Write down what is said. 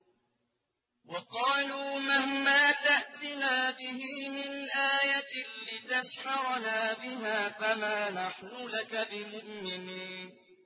وَقَالُوا مَهْمَا تَأْتِنَا بِهِ مِنْ آيَةٍ لِّتَسْحَرَنَا بِهَا فَمَا نَحْنُ لَكَ بِمُؤْمِنِينَ